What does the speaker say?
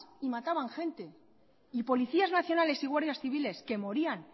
y mataban gente y policías nacionales y guardias civiles que morían